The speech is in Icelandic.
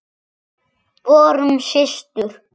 Vorum systur.